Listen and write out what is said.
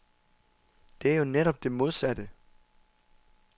Det er jo netop det modsatte.